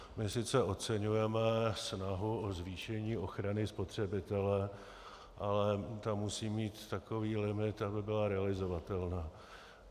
My sice oceňujeme snahu o zvýšení ochrany spotřebitele, ale ta musí mít takový limit, aby byla realizovatelná.